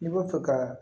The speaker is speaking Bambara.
I b'a fɛ ka